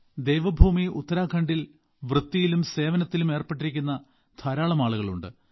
ദേവഭൂമി ഉത്തരാഖണ്ഡിൽ വൃത്തിയിലും സേവനത്തിലും ഏർപ്പെട്ടിരിക്കുന്ന ധാരാളം ആളുകൾ ഉണ്ട്